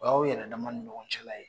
O y'aw yɛrɛdama ni ɲɔgɔn cɛla ye